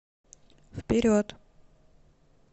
вперед